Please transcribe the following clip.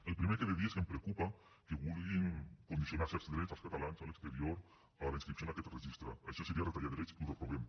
el primer que he de dir és que em preocupa que vulguin condicionar certs drets als catalans a l’exterior a la inscripció en aquest registre això seria retallar drets i ho reprovem